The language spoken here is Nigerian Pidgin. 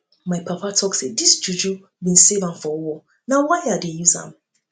my papa talk sey dis juju bin save am for war na why i dey use am